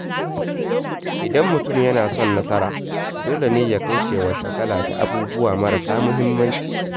Idan mutum yana son nasara, dole ne ya kauce wa shagala da abubuwa mara sa muhimmanci.